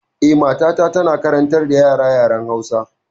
Eh, matata tana karantar da yara yaren Hausa.